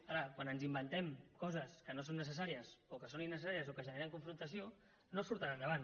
ara quan ens inventem coses que no són necessàries o que són innecessàries o que generen confrontació no surten endavant